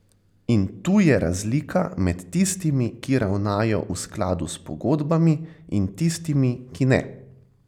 In tu je razlika med tistimi, ki ravnajo v skladu s pogodbami, in tistimi, ki ne.